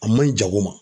A man ɲi jago ma